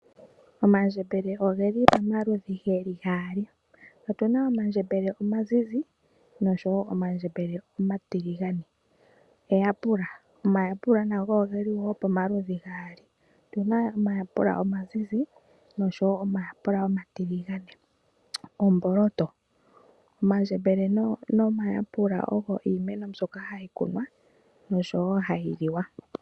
Omandjembele ogeli pamaludhi geli gali, otuna omandjembele omazize boshowo omandjembele omatiligane. Eyapula, omayapula nago ogeli pomaludhi gali otuna omayalula omazizi noshowo omayapula omatiligane nomboloto. Omandjembele nomayapula ogo iimeno mbyoka hayi kunwa oshowo hayi liwa.